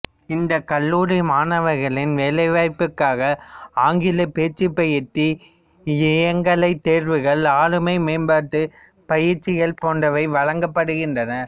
இந்த கல்லூரி மாணவர்களின் வேலைவாய்ப்புக்காக ஆங்கில பேச்சுப் பயிற்சி இயங்கலைத் தேர்வுகள் ஆளுமை மேம்பாட்டு பயிற்சிகள் போன்றவை வழங்கப்படுகிறன்றன